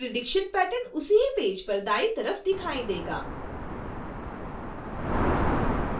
prediction pattern उसी ही page पर दाईं तरफ दिखाई देगा